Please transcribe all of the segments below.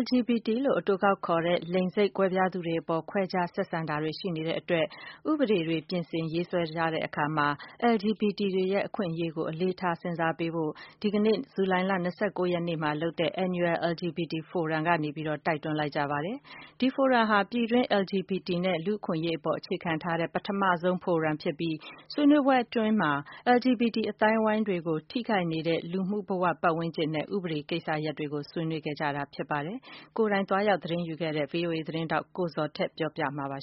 LGBT လို့အတိုကောက်ခေါ်တဲ့ လိင်စိတ်ကွဲပြားသူတွေအပေါ် ခွဲခြားဆက်ဆံတာတွေ ရှိနေတာကြောင့် ဥပဒေပြင်ဆင်ရေးဆွဲတာတွေမှာ LGBT တွေရဲ့ အခွင့်အရေးကို အလေးထား ထည့်သွင်း စဉ်းစားပေးဖို့ ဒီနေ့ ရန်ကုန်မှာ ဒီနေ့ ဇူလိုင် ၂၉ ရက်မှာလုပ်တဲ့ Annual LGBT Forum မှာ LGBT ကွန်ရက်အဖွဲ့အစည်းတွေကပြောလိုက်ပါတယ်။ ဒီဖိုရမ်ဟာ ပြည်တွင်း LGBT နဲ့ လူ့အခွင့်အရေးအပေါ် အခြေခံထားတဲ့ ပထမဆုံးဖိုရမ်ဖြစ်ပြီး ဆွေးနွေးပွဲအတွင်းမှာ LGBT အသိုင်းအဝိုင်းတွေကို ထိခိုက်နေတဲ့ လူမှုဘ၀၀န်းကျင်နဲ့ ဥပဒေကိစ္စရပ်တွေ ဆွေးနွေးခဲ့ကြတာပါ။ ဒီပွဲကို ကိုယ်တိုင်သွားရောက် သတင်းယူခဲ့တဲ့ ဗွီအိုအေသတင်းထောက် ကိုဇော်ထက်က ပြောပြပေးမှာပါ။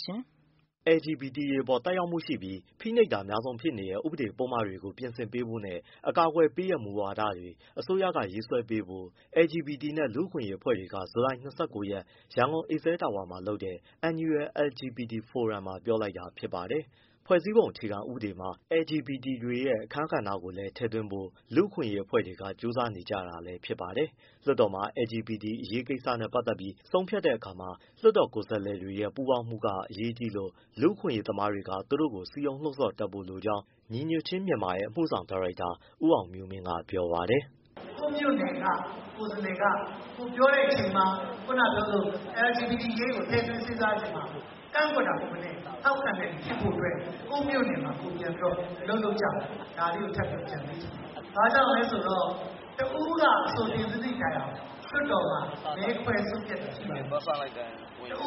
LGBT တွေအပေါ်သက်ရောက်မှုရှိပြီး ဖိနှိပ်တာအများဆုံးဖြစ်နေတဲ့ ဥပဒေပုဒ်မတွေကိုပြင်ဆင်ပေးဖို့နဲ့ အကာအကွယ်ပေးတဲ့ မူဝါဒတွေ အစိုးရက ရေးဆွဲပေးဖို့ LGBT နဲ့လူ့အခွင့်အရေးအဖွဲ့တွေက ဇူလိုင် ၂၉ ရက် ရန်ကုန် Excel Tower လုပ်တဲ့ Annual LGBT Forum မှာပြောလိုက်တာဖြစ်ပါတယ်။ ဖွဲ့စည်းပုံအခြေခံဥပဒေမှာ LGBT တွေရဲ့ အခန်းကဏ္ဍကိုလည်း ထည့်သွင်းဖို့ လူ့အခွင့်အရေးအဖွဲ့တွေက ကြိုးစားနေကြတာလည်းဖြစ်ပါတယ်။ လွှတ်တော်မှာ LGBT အရေးကိစ္စနဲ့ပတ်သက်ပြီး ဆုံးဖြတ်တဲ့အခါမှာ လွှတ်တော်ကိုယ်စားလှယ်တွေရဲ့ ပူးပေါင်းမှုကအရေးကြီးလို့ လူ့အခွင့်အရေးသမား တွေက သူတို့ကို စည်းရုံးလှုံ့ဆော်တတ်ဖို့လိုကြောင်း ညီညွတ်ခြင်းမြန်မာရဲ့ အမှုဆောင်ဒါရိုက်တာ ဦးအောင်မျိုးမင်းက ဗွီအိုအေကို ပြောပါတယ်။ “ ကိုယ့်မြို့နယ်က ကိုယ်စားလှယ်က ကိုယ်ပြောတဲ့အချိန်မှာ ခုနကပြောသလို LGBT အရေးကိုထည့်သွင်းစဉ်းစားချိန်မှာ ကန့်ကွက်တာ မဟုတ်ဘဲနဲ့ ထောက်ခံတဲ့သူဖြစ်ဖို့အတွက် ကိုယ့်မြို့နယ်မှာကိုယ်ပြန်ပြီးအလုပ်လုပ်ကြပါ ဒါလေးကိုအကြံပေးချင်ပါတယ်။ ဘာဖြစ်လို့လဲဆိုတော့ တဦးက အဆိုတင်သွင်းသည့်တိုင်အောင် လွှတ်တော်မှာ မဲခွဲဆုံးဖြတ်တာရှိပါတယ် တ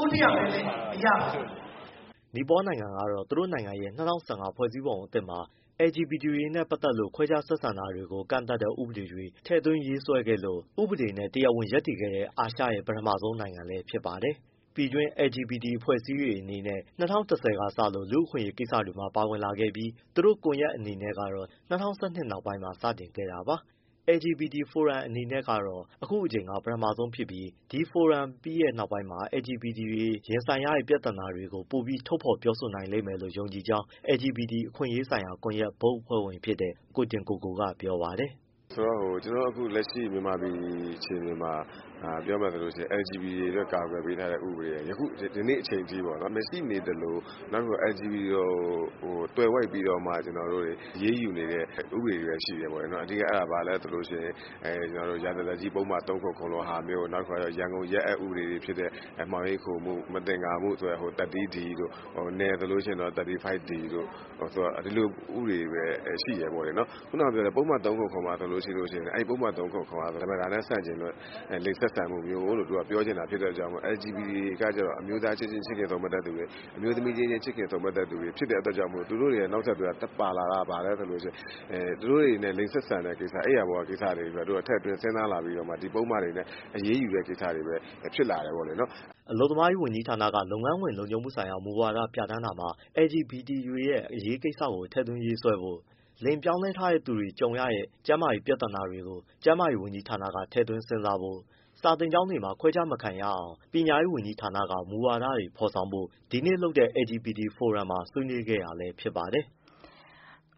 ဦးတယောက်တည်းနဲ့မရပါဘူး။” နီပေါနိုင်ငံကတော့ သူတို့ရဲ့ ၂၀၁၅ ဖွဲ့စည်းပုံအသစ်မှာ LGBT တွေနဲ့ပတ်သက်လို့ ခွဲခြား ဆက်ဆံတာတွေကို ကန့်သတ်တဲ့ ဥပဒေကိုထည့်သွင်းရေးဆွဲခဲ့လို့ ဥပဒေနဲ့တရားဝင်ရပ်တည်ခဲ့တဲ့ အာရှရဲ့ ပထမဆုံး နိုင်ငံဖြစ်ခဲ့ပါတယ်။ ပြည်တွင်း LGBT အဖွဲ့အစည်းလေးတွေအနေနဲ့ ၂၀၁၀ ကစလို့လူ့အခွင့်အရေးကိစ္စ တွေမှာပါဝင်လာပြီး သူတို့ကွန်ရက်အနေနဲ့ကတော့ ၂၀၁၂ နောက်ပိုင်းမှာစတင်ခဲ့တာပါ။ LGBT ဖိုရမ်အနေနဲ့ကတော့ အခုအကြိမ်က ပထမဆုံးဖြစ်ပြီး ဒီဖိုရမ်ပြီးတဲ့နောက်ပိုင်းမှာ LGBT တွေရင်ဆိုင်ရတဲ့ ပြဿနာတွေကို ပိုပြီးထုတ်ဖော်ပြောဆိုနိုင်မယ်လို့ ယုံကြည်ကြောင်း LGBT အခွင့်အရေးဆိုင်ရာ ကွန်ရက် ဘုတ်အဖွဲ့ဝင်ဖြစ်တဲ့ ကိုတင်ကိုကိုကပြောပါတယ်။ “ ဆိုတော့ ကျနော်တို့ အခုမြန်မာပြည်အခြေအနေမှာ ပြောမယ်ဆိုရင် LGBT တွေအတွက် အကာကွယ်ပေးထားတဲ့ဥပဒေတွေ ဒီနေ့အချိန်ထိ မရှိနေသလို LGBT ကိုသွယ်ဝိုက်ပြီးတော့မှ အရေးယူနေတဲ့ ဥပဒေတွေပဲရှိတယ်ပေါ့။ အဓိက ဘာလဲဆိုရင် ရာဇသတ်ကြီးပုဒ်မ ၃၇၇လိုဟာမျိုး၊ ရန်ကုန်ရဲအက်ဥပဒေ တွေဖြစ်တဲ့ မှောင်ရိပ်ခိုမှု မသင်္ကာမှု ဆိုတဲ့ 30 တို့၊ နယ်ဆိုရင် 35 တို့ ဒီလိုဥပဒေတွေရှိတယ်ပေါ့နော်။ ပုဒ်မ ၃၇၇ မှာ ဓမ္မတာနဲ့ဆန့်ကျင်တဲ့ လိင်ဆက်ဆံမှုမျိုးလို့ ပြောချင်တာဖြစ်တဲ့အတွက်ကြောင့် LGBT တွေက အမျိုးသားချင်း ချစ်ခင်ဆုံမက်တဲ့သူတွေ၊ အမျိုးသမီးချင်းချစ်ခင်စုံမက်တဲ့သူတွေ ဖြစ်တဲ့အတွက်ကြောင့်မို့ သူတို့ရဲ့ နောက်ဆက်တွဲပါလာတာက အိပ်ယာပေါ်ကကိစ္စတွေပါထည့်သွင်းစဉ်းစားလာပြီး ဒီပုဒ်မတွေနဲ့ အရေးယူတဲ့ကိစ္စတွေပဲ ဖြစ်လာတယ်ပေါ့လေနော်။” အလုပ်သမားဝန်ကြီးဌာနက လုပ်ငန်းခွင်လုံခြုံမှုဆိုင်ရာမူဝါဒပြဌာန်းတာမှာ LGBT တွေရဲ့ အရေးကိစ္စတွေထည့်သွင်းရေးဆွဲဖို့၊ လိင်ပြောင်းလဲထားတဲ့သူတွေ ကြုံရတဲ့ကျန်းမာရေးပြဿနာတွေကို ကျန်းမာရေးဝန်ကြီးဌာနက ထည့်သွင်းစဉ်းစားဖို့၊ စာသင်ကျောင်းတွေမှာ ခွဲခြားမခံရအောင် ပညာရေးဝန်ကြီးဌာနက မူဝါဒတွေဖော်ဆောင်ဖု့ိ ဒီနေ့လုပ်တဲ့ LGBT ဖိုရမ်မှာ ဆွေးနွေးခဲ့တာလည်းဖြစ်ပါတယ်။